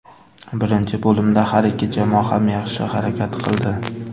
Birinchi bo‘limda har ikki jamoa ham yaxshi harakat qildi.